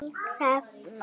Þín Hrefna.